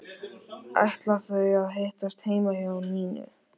Ætla þau að hittast heima hjá Nínu?